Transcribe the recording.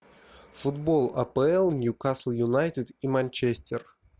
футбол апл ньюкасл юнайтед и манчестер